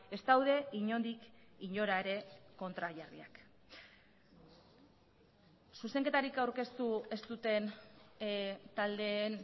ez daude inondik inora ere kontrajarriak zuzenketarik aurkeztu ez duten taldeen